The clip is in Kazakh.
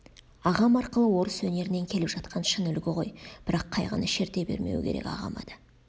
ағам арқылы орыс өнерінен келіп жатқан шын үлгі ғой бірақ қайғыны шерте бермеу керек ағама да